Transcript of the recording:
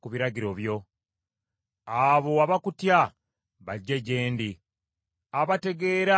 Abo abakutya bajje gye ndi, abategeera amateeka go.